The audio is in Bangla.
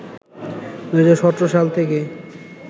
২০১৭ সাল থেকে